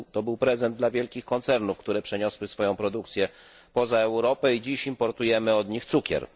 To był prezent dla wielkich koncernów, które przeniosły swoją produkcję poza Europę i dziś importujemy od nich cukier.